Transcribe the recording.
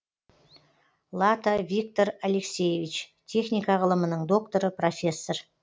лата виктор алексеевич техника ғылымының докторы профессор